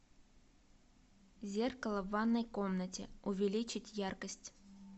зеркало в ванной комнате увеличить яркость